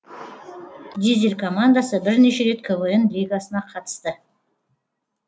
дизель командасы бірнеше рет квн лигасына қатысты